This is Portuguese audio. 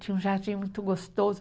Tinha um jardim muito gostoso.